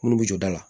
Munnu bi jɔ da la